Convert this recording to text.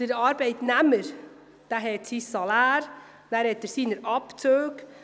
Der Arbeitnehmer hat sein Salär und seine Abzüge.